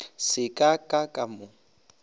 se ka ka ka mo